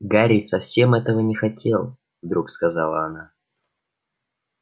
гарри совсем этого не хотел вдруг сказала она